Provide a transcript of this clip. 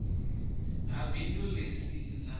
ha bindu ḽi si ḽa